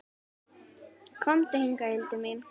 Komdu hingað, Hildur mín!